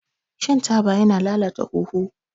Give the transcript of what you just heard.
Shan taba yana lalata huhu.